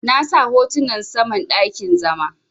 Na sa hotunan saman dakin zama.